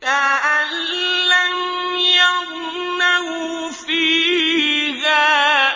كَأَن لَّمْ يَغْنَوْا فِيهَا ۗ